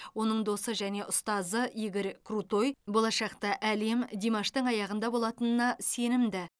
оның досы және ұстазы игорь крутой болашақта әлем димаштың аяғында болатынына сенімді